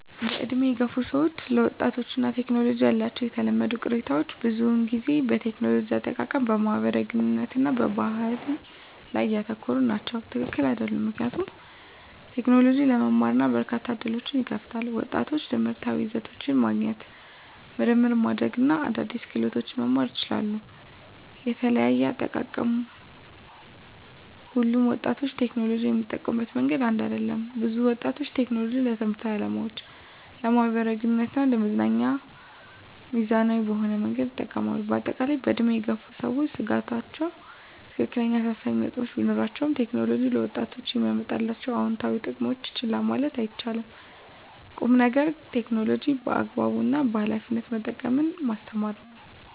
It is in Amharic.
በዕድሜ የገፉ ሰዎች ስለ ወጣቶች እና ቴክኖሎጂ ያላቸው የተለመዱ ቅሬታዎች ብዙውን ጊዜ በቴክኖሎጂ አጠቃቀም፣ በማህበራዊ ግንኙነት እና በባህሪ ላይ ያተኮሩ ናቸው። # ትክክል አይደሉም ምክንያቱም: ቴክኖሎጂ ለመማር እና በርካታ ዕድሎችን ይከፍታል። ወጣቶች ትምህርታዊ ይዘቶችን ማግኘት፣ ምርምር ማድረግ እና አዳዲስ ክህሎቶችን መማር ይችላሉ። * የተለያየ አጠቃቀም: ሁሉም ወጣቶች ቴክኖሎጂን የሚጠቀሙበት መንገድ አንድ አይደለም። ብዙ ወጣቶች ቴክኖሎጂን ለትምህርታዊ ዓላማዎች፣ ለማኅበራዊ ግንኙነት እና ለመዝናኛ ሚዛናዊ በሆነ መንገድ ይጠቀማሉ። በአጠቃላይ፣ በዕድሜ የገፉ ሰዎች ስጋቶች ትክክለኛ አሳሳቢ ነጥቦች ቢኖራቸውም፣ ቴክኖሎጂ ለወጣቶች የሚያመጣቸውን አዎንታዊ ጥቅሞች ችላ ማለት አይቻልም። ቁም ነገሩ ቴክኖሎጂን በአግባቡ እና በኃላፊነት መጠቀምን ማስተማር ነው።